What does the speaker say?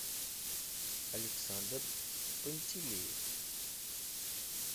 александр пантелеев